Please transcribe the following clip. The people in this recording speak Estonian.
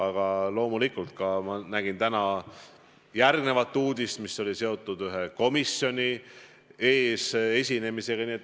Aga loomulikult ma nägin täna uudist, mis oli seotud ühe komisjoni ees esinemisega.